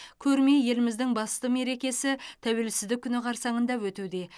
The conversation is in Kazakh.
көрме еліміздің басты мерекесі тәуелсіздік күні қарсаңында өтуде